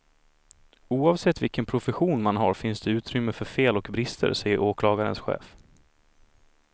Oavsett vilken profession man har finns det utrymme för fel och brister, säger åklagarens chef.